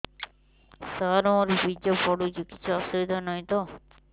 ସାର ମୋର ବୀର୍ଯ୍ୟ ପଡୁଛି କିଛି ଅସୁବିଧା ନାହିଁ ତ